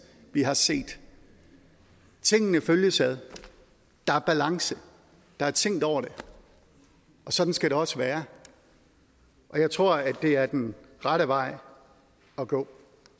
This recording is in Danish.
vi har set tingene følges ad der er balance der er tænkt over det og sådan skal det også være jeg tror det er den rette vej at gå